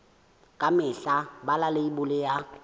ka mehla bala leibole ya